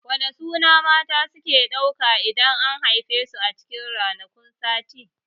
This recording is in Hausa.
Wane suna mata suke ɗauka idan an haife su a cikin ranakun sati?